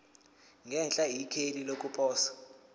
ngenhla ikheli lokuposa